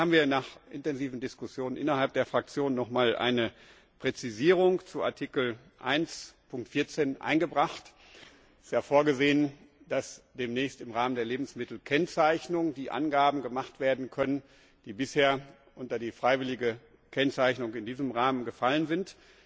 Deswegen haben wir nach intensiven Diskussionen innerhalb der Fraktion noch mal eine Präzisierung zu Artikel 1 Nummer 14 eingebracht, der vorsieht, dass demnächst im Rahmen der Lebensmittelkennzeichnung die Angaben gemacht werden können, die bisher unter die freiwillige Kennzeichnung in diesem Rahmen gefallen sind.